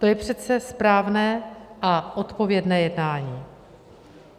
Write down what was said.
To je přece správné a odpovědné jednání.